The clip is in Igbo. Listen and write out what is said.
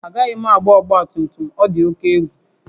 Agaghị m agba ọgba tum tum, ọ dị oke egwu